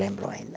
Lembro ainda.